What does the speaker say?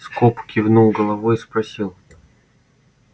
скоп кивнул головой и спросил